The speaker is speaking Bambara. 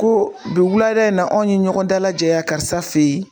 Ko bi wulada in na anw ye ɲɔgɔn dalajɛ ya karisa fe ye